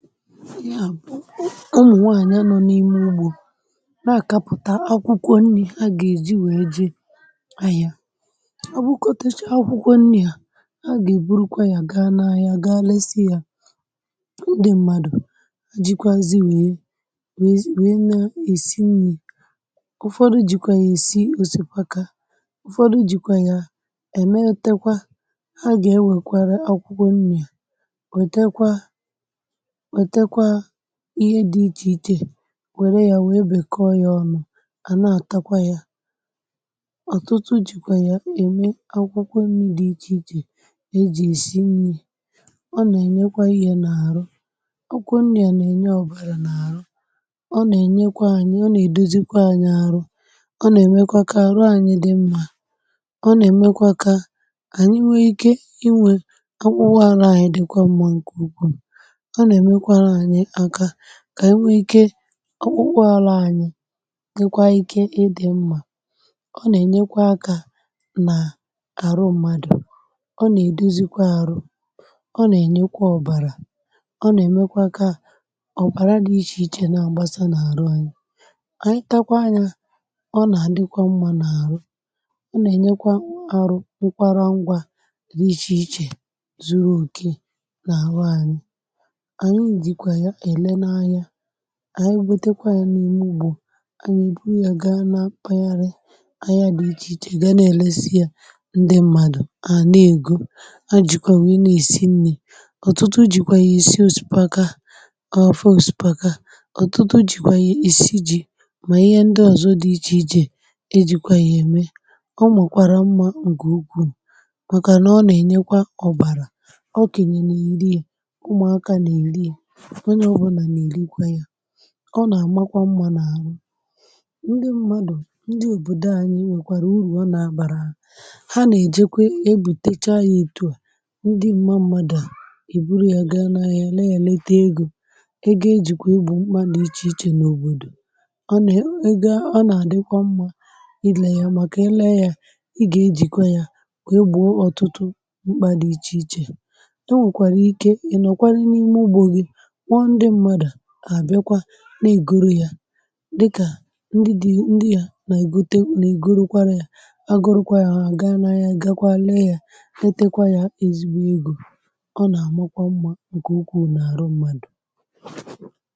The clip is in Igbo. Ihe a bụ ụmụ nwaanya nọ n’ime ugbo na-akapụta akwụkwọ nri̇ ha ga e ji wee je ahịa ọ bụkọtechee akwụkwọ nni a ha ga e burukwa ya gaa na ahịa gaa lesịa ndị mmadụ̀ jikwazi wee wee na-esi nri̇ ụfọdụ jikwaa ya-esi osikpaka ụfọdụ jikwaa ya emetekwa ha ga-ewekwara akwụkwọ nri̇ wetekwa wetekwa ihe dị ichè ichè wère ya wee bèkọ ya ọnụ̇ à na-àtakwa ya. ọtụtụ jìkwà ya ème akwụkwọ nri di ichè ichè e jì èsi nni ọ nà-ènyekwa ihė n’àrụ akwụkwọ nni a nà-ènye ọ̀bàrà n’àrụ ọ nà-ènyekwa anyị ọ nà-èdozikwa anyị arụ ọ nà-èmekwa kà àrụ anyị dị mmȧ ọ nà-èmekwa kà ànyị nwee ike inwė ka akpụkpọ arụ anyị dịkwa mmȧ ǹke ukwù ọ na emekwara anyi aka ka anyi wee ike ka ọpkpụarụ anyi dikwa ike ịdị̀ mmȧ ọ nà-ènyekwa akȧ n’àrụ mmadù ọ nà-èdozikwa arụ̇ ọ nà-ènyekwa ọ̀bàrà ọ nà-èmekwa kaa ọ̀bàra dị ichè ichè nà agbasa n’àrụ anyi, ànyị takwa nya ọ nà-àdịkwa mmȧ n’àrụ ọ nà-ènyekwa arụ nkwara ngwȧ dị ichè ichè zuru òke na arụ anyi anyi jikwa ya àle na anya anyi butekwa ya n’ime ụgbọ anyi e bụrụ ya ga na kpayari ahia di iche iche gà na-èlesi yȧ ndị mmadụ̀ ha àna ègò ha jìkwà nwee na-èsi nni̇ ọ̀tụtụ jìkwà yà èsi osipaka ọ̀fe osipaka ọ̀tụtụ jìkwà yà èsi jì mà ihe ndị ọ̀zọ dị ichè ichè ejikwa yà ème ọ mmakwara mmȧ ǹkè ukwuù màkànà ọ nà-ènyekwa ọ̀bàrà ọkènye na eri ya ụmụ̀ aka nà-èli ya ọnye ọbụna na elikwa ya ọ nà-àmakwa mmȧ n’àhụ ndị mmadụ̀ ndị òbòdò anyị nwèkwàrà urù ọ nà-àbàrà ha ha nà-èjekwa ebùtecha ya ọtụ à ndị mmȧ mmadụ̀ à e bụrụ ya gaa n’ahia lee ya lete egȯ egọ ejìkwà egbọ mkpà di iche ichè n’òbòdò, ọ nà-àdịkwa mmȧ ị lė ya màkà e lee ya ị gà-ejìkwa ya wee gbọọ ọtụtụ mkpà dị̇ ichè ichè ,ekwe kwara ike inọkwarụ n’ime ugbọ gi kpọ ndi mmadụ ha biakwa na-ègoro yȧ dịkà ndị dị̇ ndị yȧ na-ègote na-ègoro kwara yȧ ha agọrọkwa yȧ ha gaa n’ahia gakwa lee yȧ letekwa yȧ ezigbo egȯ ọ na-àmakwa mmȧ nke ụkwù n’àrụ mmadụ̀